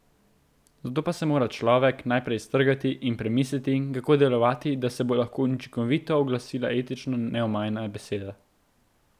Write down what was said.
Zato pa se mora človek najprej iztrgati in premisliti, kako delovati, da se bo lahko učinkovito oglasila etično neomajna beseda.